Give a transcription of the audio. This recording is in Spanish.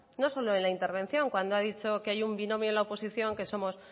no solo en la intervención cuando ha dicho que hay un binomio en la oposición que somos